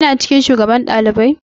Kina cikin shugaban ɗalibai?